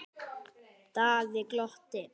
Daði glotti.